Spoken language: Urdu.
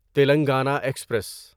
تیلنگانہ ایکسپریس